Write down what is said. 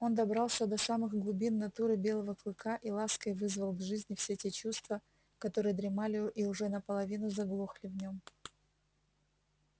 он добрался до самых глубин натуры белого клыка и лаской вызвал к жизни все те чувства которые дремали и уже наполовину заглохли в нем